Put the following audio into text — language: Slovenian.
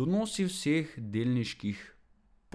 Donosi vseh delniških